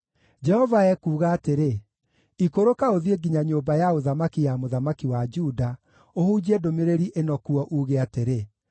Jehova ekuuga atĩrĩ, “Ikũrũka ũthiĩ nginya nyũmba ya ũthamaki ya mũthamaki wa Juda ũhunjie ndũmĩrĩri ĩno kuo, uuge atĩrĩ: